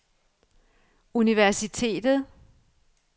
universitetet